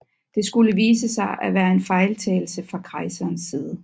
Det skulle vise sig at være en fejltagelse fra kejserens side